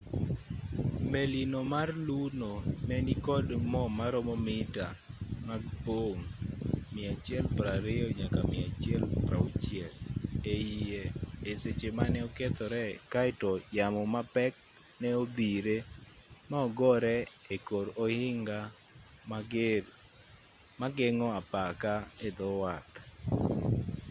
melino mar luno ne nikod mo maromo mita mag pong' 120-160 eiye e seche mane okethore kaeto yamo mapek ne odhire ma ogore e kor ohinga moger mageng'o apaka e dho wath